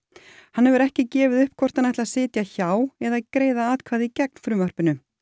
hann hefur ekki gefið upp hvort hann ætli að sitja hjá eða greiða atkvæði gegn frumvarpinu